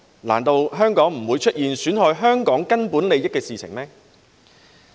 難道香港就不會出現損害香港根本利益的事情？